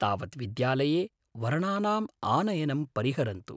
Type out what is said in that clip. तावत् विद्यालये वर्णानाम् आनयनं परिहरन्तु।